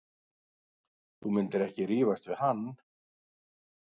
Þú myndir ekki rífast við hann.